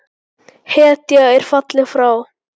Hetja er fallin frá!